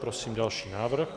Prosím další návrh.